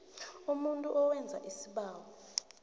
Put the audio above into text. umuntu owenza isibawo